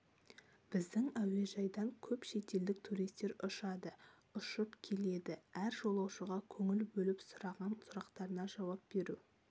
біздің әуежайдан көп шетелдік туристер ұшады ұшып келеді әр жолаушыға көңіл бөліп сұраған сұрақтарына жауап беру